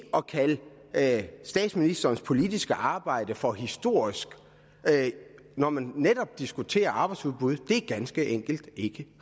at statsministerens politiske arbejde for historisk når man netop diskutere arbejdsudbud ganske enkelt ikke